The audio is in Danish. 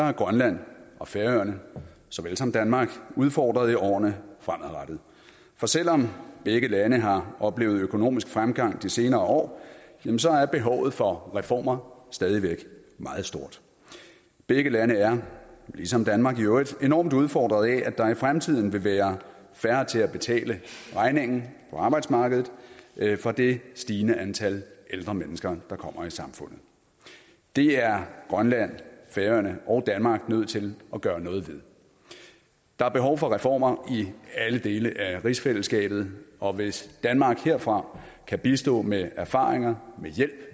er grønland og færøerne såvel som danmark udfordret i årene fremadrettet for selv om begge lande har oplevet økonomisk fremgang i de senere år jamen så er behovet for reformer stadig væk meget stort begge lande er ligesom danmark i øvrigt enormt udfordret af at der i fremtiden vil være færre til at betale regningen på arbejdsmarkedet for det stigende antal ældre mennesker der kommer i samfundet det er grønland færøerne og danmark nødt til at gøre noget ved der er behov for reformer i alle dele af rigsfællesskabet og hvis danmark herfra kan bistå med erfaringer med hjælp